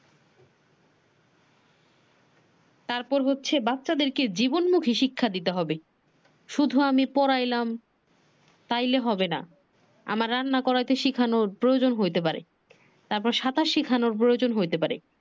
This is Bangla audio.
তার পর বাচ্চাদের জীবনমুখী শিক্ষা দিতে হবে শুধু আমি পড়াইলাম তাইলে হবে না রান্না করাইতে শিখানোর প্রয়োজন হইতে পারে তারপর সাঁতার শিখানোর প্রয়োজন হতে পারে।